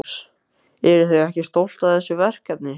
Magnús: Eruð þið ekki stolt af þessu verkefni?